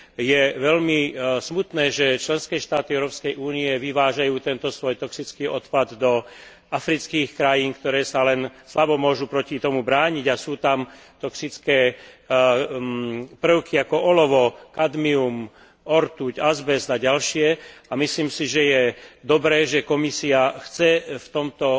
Je veľmi smutné, že členské štáty Európskej únie vyvážajú tento svoj toxický odpad do afrických krajín, ktoré sa len slabo môžu proti tomu brániť, a sú tam toxické prvky ako olovo, kadmium, ortuť, azbest a ďalšie, a myslím si, že je dobré, že Komisia chce v tomto